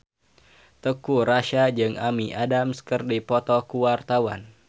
Teuku Rassya jeung Amy Adams keur dipoto ku wartawan